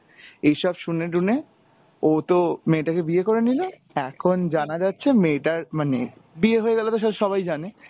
এইসব শুাই-টুনে ও তো মেয়েটা কে বিয়ে করে নিলো, এখন জানা যাচ্ছে মেয়েটার মানে, বিয়ে হয়ে গেলে তো সেটা সবাই জানে,